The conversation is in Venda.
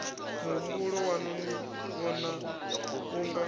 muhumbulo waṋu ni vhona unga